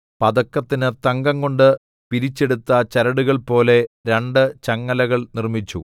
പതക്കത്തിന് തങ്കംകൊണ്ട് പിരിച്ചെടുത്ത ചരടുകൾ പോലെ രണ്ട് ചങ്ങലകൾ നിർമ്മിച്ചു